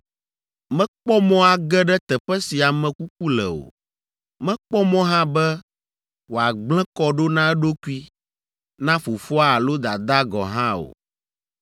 Mekpɔ mɔ age ɖe teƒe si ame kuku le o. Mekpɔ mɔ hã be wòagblẽ kɔ ɖo na eɖokui, na fofoa alo dadaa gɔ̃ hã o.